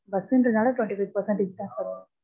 bus ன்றதால twenty five percentage தா sir வரும்.